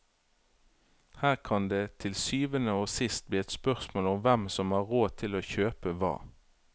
Her kan det til syvende og sist bli et spørsmål om hvem som har råd til å kjøpe hva.